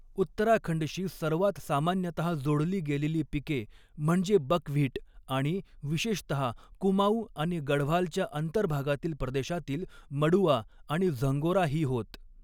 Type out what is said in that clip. उत्तराखंडशी सर्वांत सामान्यतः जोडली गेलेली पिके म्हणजे बकव्हीट आणि विशेषतः कुमाऊँ आणि गढवालच्या अंतर्भागातील प्रदेशातील मडुवा आणि झंगोरा ही होत.